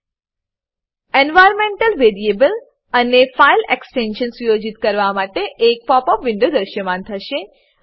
environmental variable environmental variable અને file extension file extension સુયોજિત કરવા માટે એક પોપ અપ વિન્ડો દ્રશ્યમાન થશે